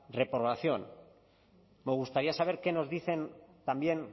reprobación me gustaría saber qué nos dicen también